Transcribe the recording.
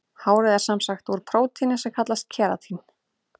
Hárið er sem sagt úr prótíni sem kallast keratín.